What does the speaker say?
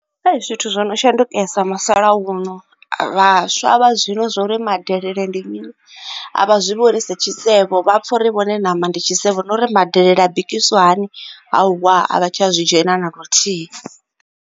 Hei, zwithu zwo no shandukesa musalauno, vhaswa vha zwino zwa uri madelele ndi mini a vha zwi vhoni sa tshisevho. Vha pfa uri vhone na nama ndi tshisevho, na uri madelele a bikiswa, hauwa, a vha tsha zwi dzhena na luthihi.